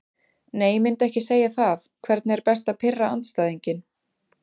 Nei myndi ekki segja það Hvernig er best að pirra andstæðinginn?